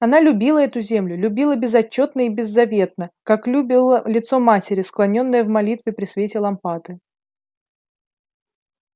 она любила эту землю любила безотчётно и беззаветно как любила лицо матери склонённое в молитве при свете лампады